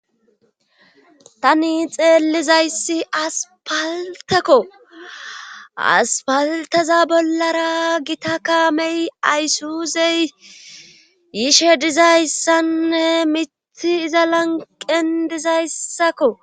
tani xeellizayssi aspaltekko aspalteza bollara gita kaamey ayssuuzey yishe dizayssanne mitthi iza lanqen dizayssakko